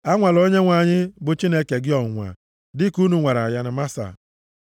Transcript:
Anwala Onyenwe anyị, bụ Chineke gị ọnwụnwa, dịka unu nwara ya na Masa.